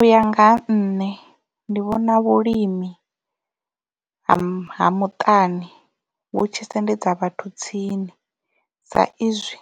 Uya nga ha nṋe ndi vhona vhulimi ha muṱani vhu tshi sendedza vhathu tsini sa izwi